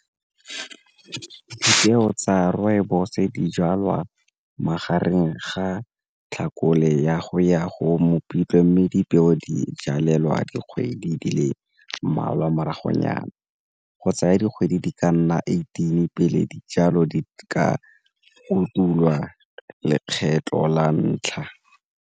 Dipeo tsa rooibos di jalwa magareng ga tlhakole ya go ya go Mopitlwe mme dipeo di jalelelwa dikgwedi di le mmalwa morago nyana go tsaya dikgwedi di ka nna eighteen pele dijalo di ka lekgetlho la ntlha.